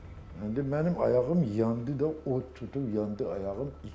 İndi mənim ayağım yandı da, od tutub yandı ayağım.